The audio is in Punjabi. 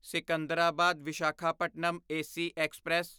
Secunderabad Visakhapatnam AC express